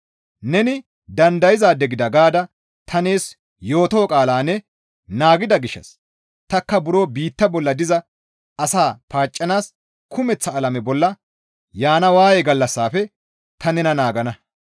Neni dandayzaade gida gaada ta nees yootoo qaalaa ne naagida gishshas takka buro biitta bolla diza asaa paaccanaas kumeththa alame bolla yaana waaye gallassafe ta nena naagana.